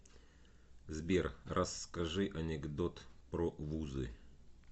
сбер расскажи анекдот про вузы